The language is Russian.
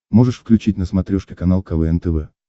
можешь включить на смотрешке канал квн тв